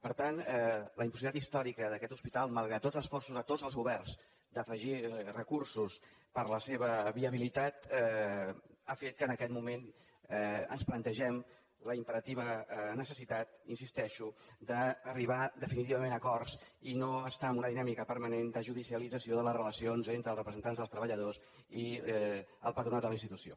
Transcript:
per tant la impossibilitat històrica d’aquest hospital malgrat tots els esforços a tots els governs d’afegir recursos per a la seva viabilitat ha fet que en aquest moment ens plantegem la imperativa necessitat hi insisteixo d’arribar definitivament a acords i no estar en una dinàmica permanent de judicialització de les relacions entre els representants dels treballadors i el patronat de la institució